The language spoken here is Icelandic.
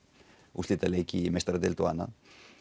úrslitaleiki í meistaradeild og annað